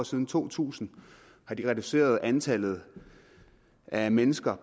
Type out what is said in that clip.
siden to tusind har reduceret antallet af mennesker